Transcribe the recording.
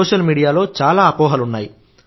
social మీడియాలో చాలా అపోహలున్నాయి